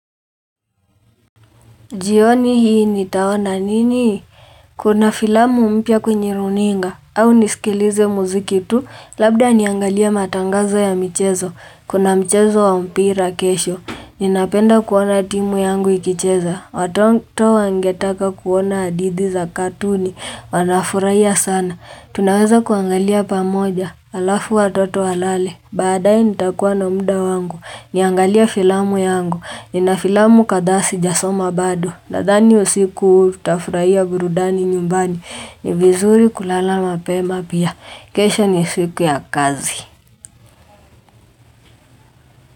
Jioni hii nitawona nini? Kuna filamu mpia kwenye runinga, au nisikilize muziki tu, labda niangalia matangazo ya michezo, kuna michezo wa mpira kesho. Ninapenda kuona timu yangu ikicheza, watoto wangetaka kuona adidi za katuni, wanafuraiya sana. Tunaweza kuangalia pamoja, alafu wa toto walale. Badae nitakua na muda wangu, niangalia filamu yangu, ni na filamu kada sijasoma bado, nadani usiku utafuraiya burudani nyumbani, ni vizuri kulala mapema pia, kesha ni siku ya kazi.